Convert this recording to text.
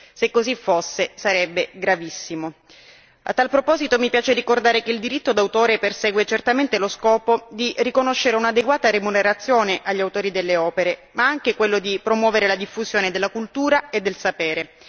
Se così fosse sarebbe gravissimo. A tale proposito mi piace ricordare che il diritto d'autore persegue certamente lo scopo di riconoscere un'adeguata remunerazione agli autori delle opere, ma anche promuovere la diffusione della cultura e del sapere.